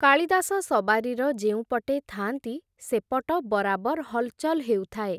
କାଳିଦାସ ସବାରିର ଯେଉଁପଟେ ଥା’ନ୍ତି, ସେପଟ ବରାବର୍ ହଲ୍‌ଚଲ୍ ହେଉଥାଏ ।